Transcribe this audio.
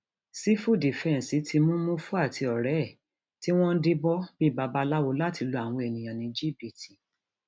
sífù dífẹǹsì ti mú mùfú àti ọrẹ ẹ tí wọn ń díbọn bíi babaláwo láti lu àwọn èèyàn ní jìbìtì